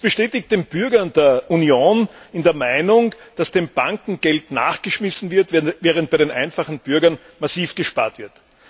Dies bestätigt den Bürger der Union in der Meinung, dass den Banken Geld nachgeschmissen wird, während bei den einfachen Bürgern massiv gespart wird.